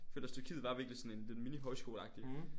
Jeg føler også Tyrkiet var virkelig sådan det en mini højskole agtigt